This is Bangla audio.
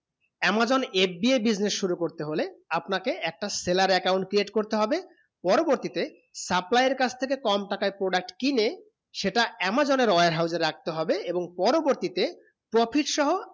amazon FBA business শুরু করতে হলে আপনা কে একটা seller account create করতে হবে পরবর্তী তে supplier কাছ থেকে কম টাকায় product কিনে সেটা amazon এর warehouse এ রাখতে হবে এবং পরবর্তী তে profit সহ